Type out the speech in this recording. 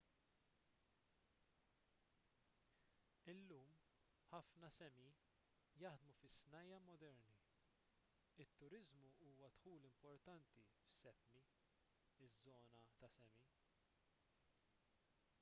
illum ħafna sámi jaħdmu fi snajja' moderni. it-turiżmu huwa dħul importanti f'sápmi iż-żona tas-sámi